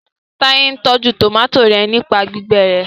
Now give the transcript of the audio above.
Taye n tọjú tomati yén nípa gbígbé rẹ